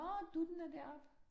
Nåh, dutten er deroppe